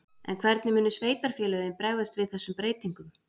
En hvernig munu sveitarfélögin bregðast við þessum breytingum?